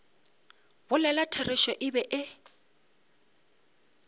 bolela therešo e be e